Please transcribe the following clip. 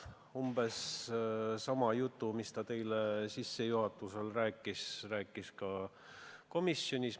Umbes sama jutu, mis ta täna ettekannet tehes rääkis, rääkis ta ka komisjonis.